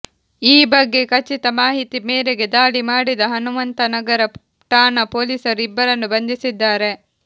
ಈ ಬಗ್ಗೆ ಖಚಿತ ಮಾಹಿತಿ ಮೇರೆಗೆ ದಾಳಿ ಮಾಡಿದ ಹನುಮಂತನಗರ ಠಾಣಾ ಪೊಲೀಸರು ಇಬ್ಬರನ್ನು ಬಂಧಿಸಿದ್ದಾರೆ